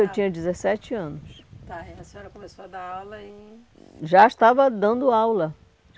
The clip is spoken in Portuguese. eu tinha dezessete anos. Tá, tá, aí a senhora começou a dar aula em... Já estava dando aula.